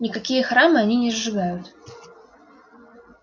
никакие храмы они не сжигают